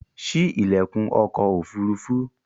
Sí ilẹkun ọkọ̀ ofurufu!